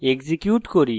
execute করি